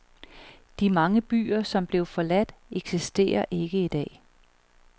De mange byer, som blev forladt, eksisterer ikke i dag.